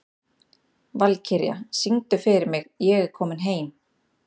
Valkyrja, syngdu fyrir mig „Ég er kominn heim“.